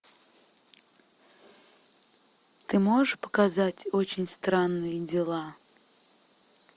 ты можешь показать очень странные дела